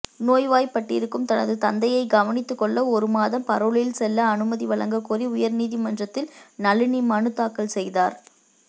நோய்வாய்ப்பட்டிருக்கும் தனது தந்தையை கவனித்துக்கொள்ள ஒரு மாதம் பரோலில் செல்ல அனுமதி வழங்கக்கோரி உயர்நீதிமன்றத்தில் நளினி மனு தாக்கல் செய்தார்